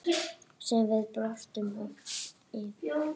Sem við brostum oft yfir.